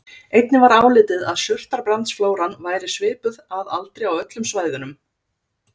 Einnig var álitið að surtarbrandsflóran væri svipuð að aldri á öllum svæðunum.